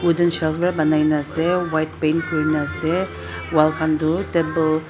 para bonai kina ase white paint kori kina ase wall khan tu table --